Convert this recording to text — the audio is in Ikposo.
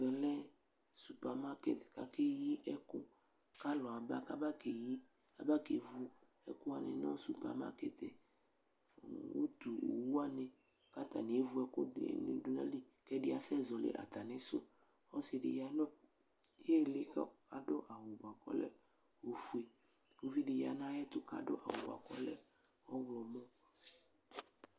Ɛvɛ lɛ supermarket kakeyi ɛkʋ k'alʋ aba k'aba keyi, k'aba kevʋ ɛkʋwani nʋ supermarket Utuowuwani k'atani evu ɛkʋɛdini dʋ n'ayili k'ɛdi asɛzɔli atamidu Ɔsidi yanʋ iili k'adʋ awʋ bua k'ɔlɛ ofue Uvidi ya n'ayɛtʋ awʋ bua k'ɔlɛ ɔɣlɔmɔ